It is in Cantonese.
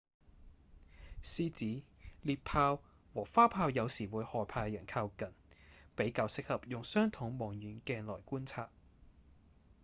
獅子、獵豹和花豹有時會害怕人靠近比較適合用雙筒望遠鏡來觀察